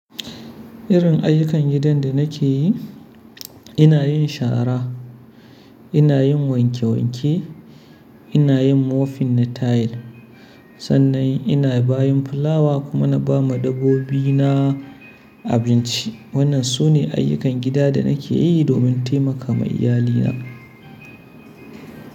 Irin ayyukan gidan da nake yi, ina yin shara, ina yin wanke wanke, ina yin mofin na tayil. Sannan ina bayin fulawa kuma na ba ma dabbobi na abinci. Wannan sune ayyukan gida da nake yi domin taimaka ma iyalina.